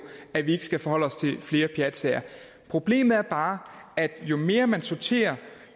at vi ikke skal forholde os til flere pjatsager problemet er bare at jo mere man sorterer